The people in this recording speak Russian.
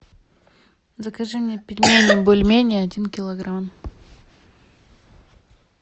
закажи мне пельмени бульмени один килограмм